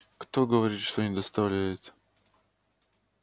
кто говорит что не доставляет